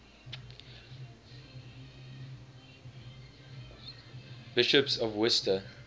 bishops of worcester